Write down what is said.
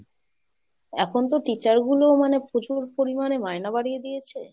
এখন তো teacher গুলো মানে প্রচুর পরিমাণে মায়না বাড়িয়ে দিয়েছে।